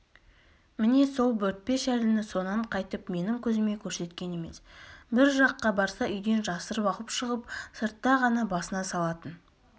міне сол бөртпе шәліні сонан қайтып менің көзіме көрсеткен емес бір жаққа барса үйден жасырып алып шығып сыртта ғана басына салатын